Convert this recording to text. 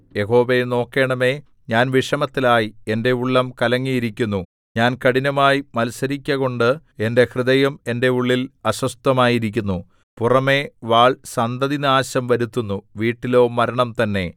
യഹോവേ നോക്കേണമേ ഞാൻ വിഷമത്തിലായി എന്റെ ഉള്ളം കലങ്ങിയിരിക്കുന്നു ഞാൻ കഠിനമായി മത്സരിക്കകൊണ്ട് എന്റെ ഹൃദയം എന്റെ ഉള്ളിൽ അസ്വസ്ഥമായിരിക്കുന്നു പുറമേ വാൾ സന്തതിനാശം വരുത്തുന്നു വീട്ടിലോ മരണം തന്നെ